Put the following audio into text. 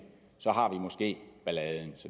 måske balladen